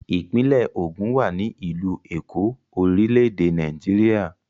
Ìpínlẹ̀ Ògùn wà ní ìlú Èkó, orílẹ̀-èdè Nàìjíríà.